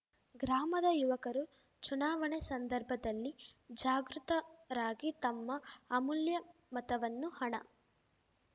ಗ್ರಾಮದ ಯುವಕರು ಚುನಾವಣೆ ಸಂದರ್ಭದಲ್ಲಿ ಜಾಗೃತರಾಗಿ ತಮ್ಮ ಅಮೂಲ್ಯ ಮತವನ್ನು ಹಣ